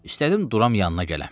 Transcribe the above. İstədim duram yanına gələm.